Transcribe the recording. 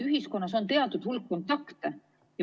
Ühiskonnas on teatud hulk kontakte.